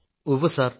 ഉവ്വ് സർ